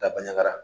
Daba ɲagara